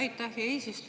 Aitäh, hea eesistuja!